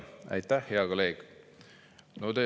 Aitäh, hea kolleeg!